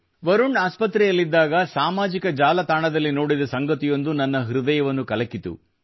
ವರುಣ್ ಆಸ್ಪತ್ರೆಯಲ್ಲಿದ್ದಾಗ ಸಾಮಾಜಿಕ ಜಾಲತಾಣದಲ್ಲಿ ನೋಡಿದ ಸಂಗತಿಯೊಂದು ನನ್ನ ಹೃದಯವನ್ನು ಕಲಕಿತು